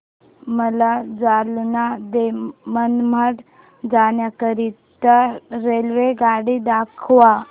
मला जालना ते मनमाड जाण्याकरीता रेल्वेगाडी दाखवा